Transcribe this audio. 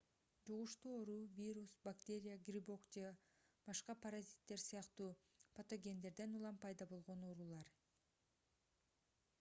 жугуштуу оору вирус бактерия грибок же башка паразиттер сыяктуу патогендерден улам пайда болгон оорулар